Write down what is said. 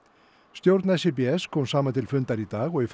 stjórn kom saman til fundar í dag og í